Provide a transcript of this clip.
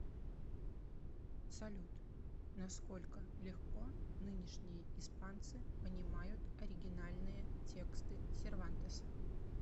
салют насколько легко нынешние испанцы понимают оригинальные тексты сервантеса